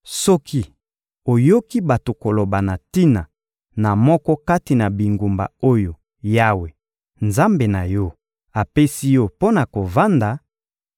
Soki oyoki bato koloba na tina na moko kati na bingumba oyo Yawe, Nzambe na yo, apesi yo mpo na kovanda